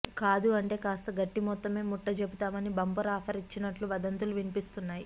కాదూ అంటే కాస్త గట్టి మొత్తమే ముట్ట చెబుతానని బంపర్ ఆఫర్ ఇచ్చినట్లు వదంతులు వినిపిస్తున్నాయి